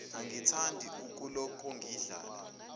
angithandi ukuloku ngadlala